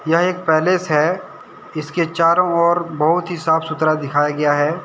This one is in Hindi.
यह एक पैलेस है। इसके चारों ओर बहुत ही साफ सुथरा दिखाया गया है।